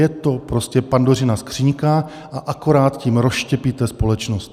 Je to prostě Pandořina skříňka a akorát tím rozštěpíte společnost.